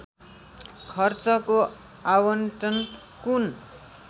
खर्चको आवन्टन कुन